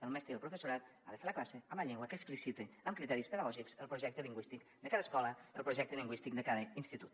el mestre i el professorat han de fer la classe en la llengua que explicita amb criteris pedagògics el projecte lingüístic de cada escola el projecte lingüístic de cada institut